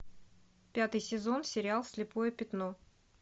пятый сезон сериал слепое пятно